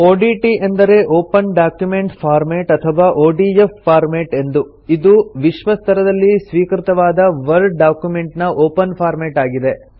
ODT ಎಂದರೆ open document format ಅಥವಾ ODF format ಎಂದು ಇದು ವಿಶ್ವ ಸ್ತರದಲ್ಲಿ ಸ್ವೀಕೃತವಾದ ವರ್ಡ್ ಡಾಕ್ಯುಮೆಂಟ್ ನ ಒಪನ್ ಫಾರ್ಮೆಟ್ ಆಗಿದೆ